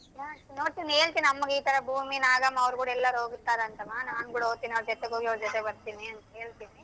ನೋಡ್ತೀನಿ ನೋಡ್ತೀನಿ ಹೇಳ್ತೀನಿ ಅಮ್ಮಗೆ ಇತರ ಭೂಮಿ ನಾಗಮ್ಮ ಅವ್ರ್ಗೂಡಿ ಎಲ್ಲಾರು ಹೋಗ್ತಾರಂತಮ್ಮ ನಾನ್ ಕೂಡ ಹೋಗ್ತೀನಿ ಅವ್ರ ಜೊತೆ ಹೋಗಿ ಅವ್ರ ಜೊತೆ ಬರ್ತೀನಿ ಅಂತ ಹೇಳ್ತೀನಿ.